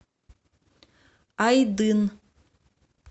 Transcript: айдын